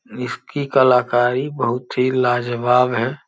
इसकी कलाकारी बहुत ही लाजवाब है।